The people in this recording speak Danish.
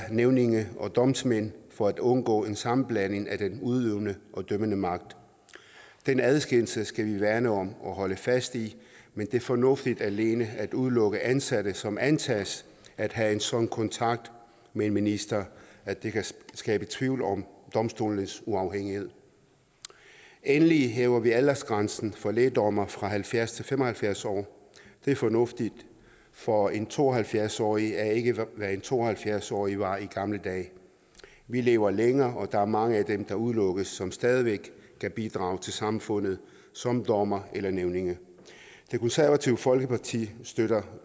nævninge og domsmænd for at undgå en sammenblanding af den udøvende og dømmende magt den adskillelse skal vi værne om og holde fast i men det er fornuftigt alene at udelukke ansatte som antages at have en sådan kontakt med en minister at det kan skabe tvivl om domstolenes uafhængighed endelig hæver vi aldersgrænsen for lægdommere fra halvfjerds til fem og halvfjerds år det er fornuftigt for en to og halvfjerds årig er ikke hvad en to og halvfjerds årig var i gamle dage vi lever længere og der er mange af dem der udelukkes som stadig væk kan bidrage til samfundet som dommere eller nævninge det konservative folkeparti støtter